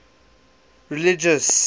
religious